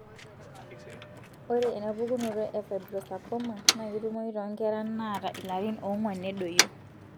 Ore ena pukunoto e fibrosarcoma na ketumoyu tonkera naata ilarin onguan nedoyio,